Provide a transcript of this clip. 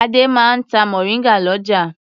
Adé máa ń ta mòríngà lọ́jà.